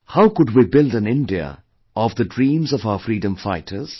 How could we build an India of the dreams of our freedom fighters